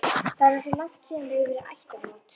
Það er nú svo langt síðan hefur verið ættarmót.